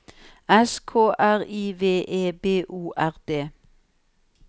S K R I V E B O R D